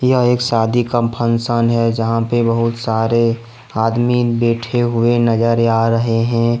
यह एक शादी का फंक्शन है जहां पे बहुत सारे आदमी बैठे हुए नजर आ रहे हैं।